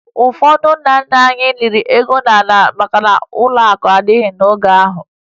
Ụfọdụ ndị nna nna anyị liri ego ha n'ime ala maka na ụlọakụ adịghị n'oge ahụ